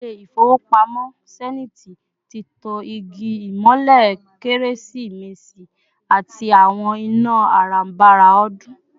Ilé-ifowopamo Zenith tí tán igi imole keresi-mesi àti àwọn iná aranbára odun